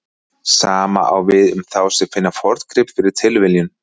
Sama á við um þá sem finna forngrip fyrir tilviljun.